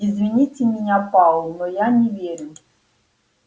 извините меня пауэлл но я не верю